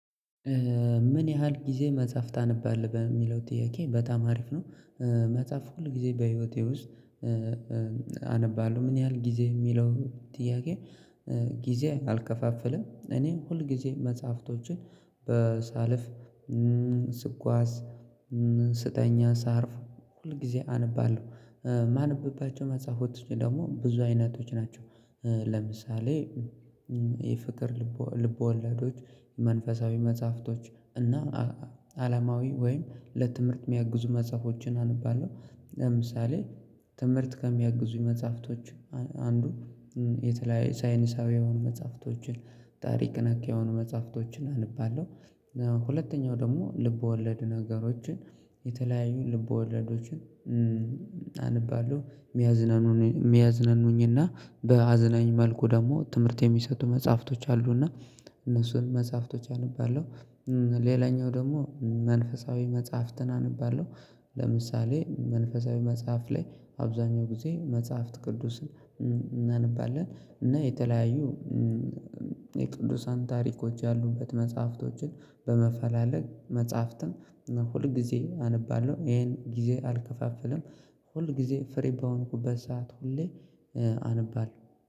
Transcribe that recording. ምን ያህል ጊዜ መጽሐፍ ታነባለህ በሚለው ጥያቄ በጣም አሪፍ ነው? መጽሐፍ ሁልጊዜ በህይዎቴ ውስጥ አነባለሁ። ምን ያህል ጊዜ የሚለው ጥያቄ? ጊዜ አልከፋፍልም እኔ ሁልጊዜ መጽሐፍቶችን በሳልፍ ስጓዝ ስተኛ ሳርፍ ሁልጊዜ አነባለሁ። ማነብባቸው መጽሐፎችውስጥ ደግሞ ብዙ አይነቶች ናቸው ለምሳሌ የፍቅር ልቦልብወለዶች መንፈሳዊ መጽሐፍቶችእና እና አለማዊ ወይም ለትምህርት የሚያግዙ መጽሐፎችን አነባለሁ። ለምሳሌ ትምህርት ከሚያግዙኝ መጽሐፍቶች አንዱ የተለያዩ ሳይንሳዊ የሆኑ መጽሐፍቶችን ታሪክ ነክ የሆኑ መጽሐፍቶችን አነባለሁ። ሁለተኛው ደግሞ ልብ ወለድ ነገሮችን የተለያዩ ልብወለዶችን አነባለሁ የሚያዝናኑ የሚያዝናኑኝና በአዝናኝ መልኩ ደግሞ ትምህርት የሚሰጡ መጽሐፍቶች አሉ እና እነሱን መጽሐፍቶች አነባለው። ሌላኛው ደግሞ መንፈሳዊ መጽሐፍትን አነባለሁ። ለምሳሌ መንፈሳዊ መጽሐፍ ላይ አብዛኛውን ጊዜ መጽሐፍት ቅዱስን እናነባለን እና የተለያዩ የቅዱሳን ታሪኮች ያሉበት መጽሐፍቶችን በመፈላለግ መጽሐፍትን ሁል ጊዜ አነባለሁ። ይኸን ጊዜ አልከፋፍልም። ሁል ጊዜ ፍሪ በሆንኩበት ሰዓት ሁሌ አነባለሁ።